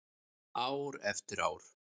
Ár eftir ár.